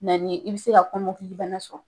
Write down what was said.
Na ni ye , i be se ka kɔmɔkili bana sɔrɔ.